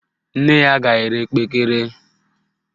Nne ya ga-ere kpekere